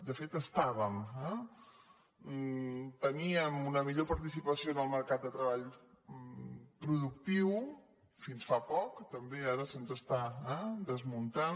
de fet estàvem eh teníem una millor participació en el mercat de tre·ball productiu fins fa poc i també ara se’ns està des·muntant